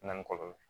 Na ni kɔlɔlɔ